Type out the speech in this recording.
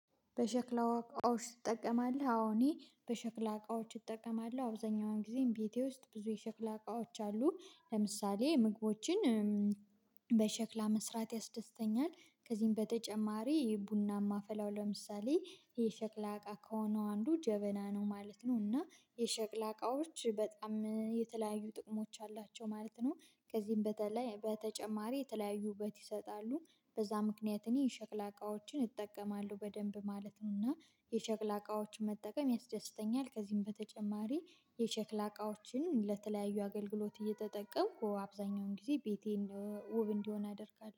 በሸክላ እቃዎች ትጠቀማልህ አዎ እኔ በሸክላ እቃዎች እጠቀማል አብዛኛውን ጊዜ ቤቴ ውስጥ ብዙ የሸክላ እቃዎች አሉ ለምሳሌ ምግቦችን በሸክላ መስራት ያስደስተኛል። ከዚህም በተጨማሪ የቡና ማፈላው ለምሳሌ የሸክላ እቃ ከሆነው አንዱ ጀበና ነው ማለት ነው እና የሸቅላ እቃዎች በጣም የተለያዩ ጥቅሞች አላቸው ማለት ነው። ከዚህም በተለይ በተጨማሪ የተለያዩ ውበት ይሰጣሉ በዛ ምክንያት እኔ የሸክላ እቃዎችን እጠቀማለሁ በደንብ ማለት ነው። እና የሸክላ እቃዎችን መጠቀም ያስደስተኛል። ከዚህም በተጨማሪ የሸክላ እቃዎችን ለተለያዩ አገልግሎት እየተጠቀምኩ አብዛኛውን ጊዜ ቤቴን ውብ እንዲሆን አደርጋለሁ